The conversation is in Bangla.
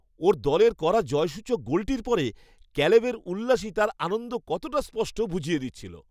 ওর দলের করা জয়সূচক গোলটির পরে, ক্যালেবের উল্লাসই তার আনন্দ কতটা স্পষ্ট বুঝিয়ে দিচ্ছিল।